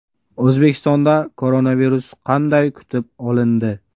O‘zbekistonda koronavirus qanday kutib olindi?